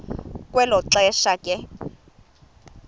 kwelo xesha ke